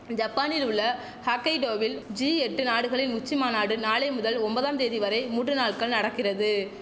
ஜப்பானில் உள்ள ஹாக்கைடோவில் ஜிஎட்டு நாடுகளின் உச்சி மாநாடு நாளை முதல் ஒம்பதாந்தேதி வரை மூன்று நாள்கள் நடக்கிறது